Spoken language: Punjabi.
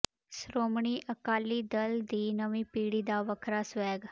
ਸ਼੍ਰੋਮਣੀ ਅਕਾਲੀ ਦਲ ਦੀ ਨਵੀਂ ਪੀੜ੍ਹੀ ਦਾ ਵੱਖਰਾ ਸਵੈਗ